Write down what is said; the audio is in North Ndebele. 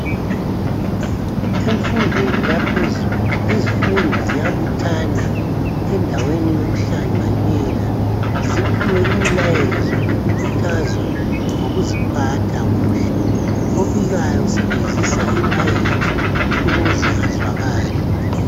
Emfundweni yaphezulu izifundi ziyabuthana endaweni yokuhlanganela ziphiwe imilayezo lokukhuthazwa ngokuziphatha kuhle. Obikayo usebenzisa i-mic ukuze azwakale.